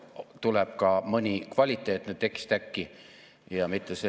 Enne arengustrateegia "Eesti 2035" juurde asumist lubage mul korraks minna ajas tagasi 90‑ndate algusesse.